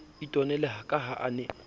itwanela ka ha a ne